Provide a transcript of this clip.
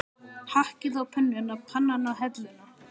Hakkið á pönnuna, pannan á helluna.